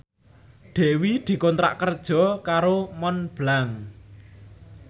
Dewi dikontrak kerja karo Montblanc